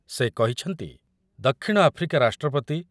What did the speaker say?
ସେ କହିଛନ୍ତି, ଦକ୍ଷିଣ ଆଫ୍ରିକା ରାଷ୍ଟ୍ରପତି